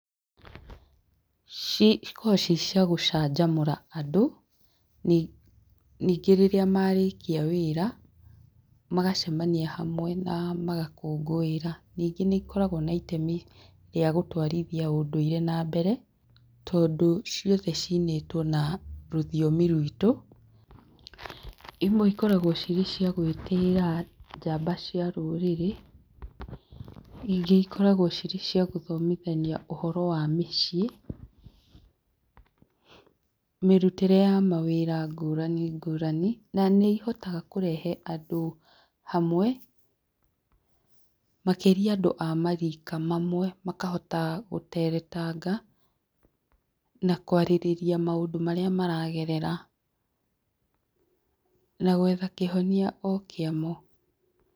Cikoragwo cirĩ cia gũcanjamũra andũ ,ningĩ rĩrĩa marĩkia wĩra magacemania hamwe na magakũkũĩra ningĩ nĩ ikoragwo na itemi rĩa gũtwarithia ũndũire na mbere tondũ ciothe cinĩtwo na rũthiomi ruitũ, imwe cikoragwo cirĩ cia gwĩtĩĩra njamba cia rũrĩrĩ, ingĩ ikoragwo cirĩ cia gũthomithia ũhoro wa mĩciĩ mĩrutĩre ya mawĩra ngũrani ngũrani na nĩ ihotaga kũrehe andũ hamwe, makĩria andũ a marika mamwe makahota gũteretanga na kwarĩrĩria maũndũ marĩa maragerera na gwetha kĩhonia o kĩa mo.